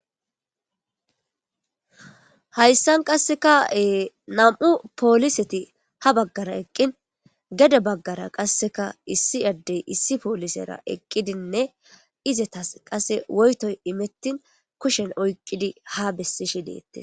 hayssan qasseka nam'u pooliseti ha baggara eqqin gede baggara qasseka issi addey issi poolisera eqqidinne izetas qase woytoy imettin kushen oyqqidi ha bessishi deettes